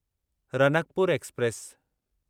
Ranakpur express